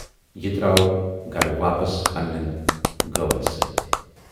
یہِ درٛاو گَرٕ واپس پنٛنٮ۪ن گٲون سۭتۍ۔